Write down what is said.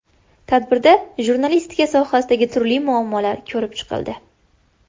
Tadbirda jurnalistika sohasidagi turli muammolar ko‘rib chiqildi.